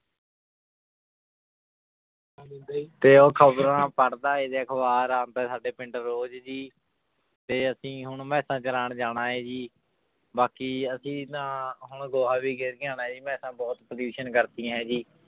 ਤੇ ਉਹ ਖ਼ਬਰਾਂ ਪੜ੍ਹਦਾ ਹੈ ਤੇ ਅਖ਼ਬਰਾ ਆਪਦਾ ਸਾਡੇ ਪਿੰਡ ਰੋਜ਼ ਜੀ ਤੇ ਅਸੀਂ ਹੁਣ ਮੈਸਾਂ ਚਰਾਉਣ ਜਾਣਾ ਹੈ ਜੀ, ਬਾਕੀ ਅਸੀਂ ਤਾਂ ਹੁਣ ਗੋਹਾ ਵੀ ਗਿਰ ਕੇ ਆਉਣਾ ਜੀ ਮੈਸਾਂ ਬਹੁਤ pollution ਕਰਤੀਆਂ ਹੈ ਜੀ